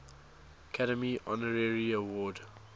academy honorary award